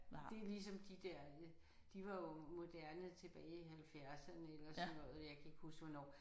Det er ligesom de der de var jo moderne tilbage i halvfjerdserne ik og sådan noget jeg kan ikke huske hvornår